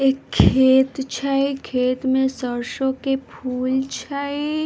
एक खेत छै खेत मे सरसों के फूल छै ।